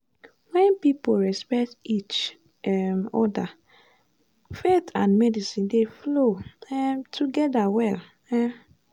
when people respect each um other faith and medicine dey flow um together well. um